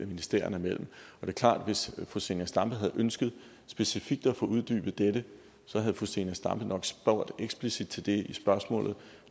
ministerierne imellem det er klart at hvis fru zenia stampe havde ønsket specifikt at få uddybet dette havde fru zenia stampe nok spurgt eksplicit til det i spørgsmålet